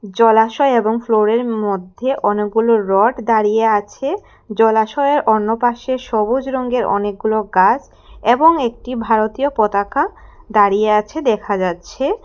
জলাশয় এবং ফ্লোরের মধ্যে অনেকগুলো রড দাঁড়িয়ে আছে জলাশয়ের অন্য পাশে সবুজ রঙ্গের অনেকগুলো গাছ এবং একটি ভারতীয় পতাকা দাঁড়িয়ে আছে দেখা যাচ্ছে।